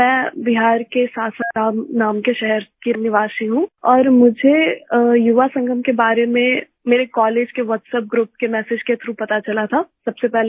मैं बिहार के सासाराम नाम के शहर की निवासी हूँ और मुझे युवा संगम के बारे में मेरे कॉलेज के WhatsApp ग्रुप के मेसेज के थ्राउघ पता चला था सबसे पहले